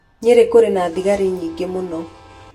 Nyeri kũrĩ na thigari nyingĩ mũno.